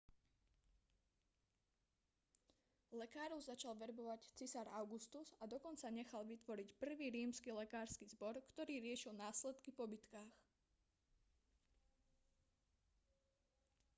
lekárov začal verbovať cisár augustus a dokonca nechal vytvoriť prvý rímsky lekársky zbor ktorý riešil následky po bitkách